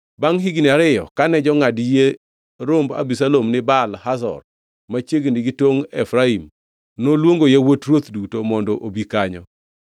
Bangʼ higni ariyo, kane jongʼad yie romb Abisalom ni Baal Hazor machiegni gi tongʼ Efraim, noluongo yawuot ruoth duto mondo obi kanyo.